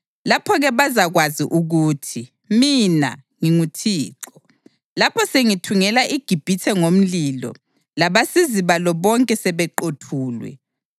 Lapho-ke bazakwazi ukuthi mina nginguThixo, lapho sengithungela iGibhithe ngomlilo labasizi balo bonke sebeqothulwe.